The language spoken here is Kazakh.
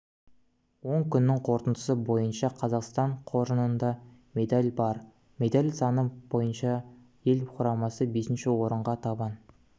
он күннің қорытындысы бойынша қазақстан қоржынында медаль бар медаль саны бойынша ел құрамасы бесінші орынға табан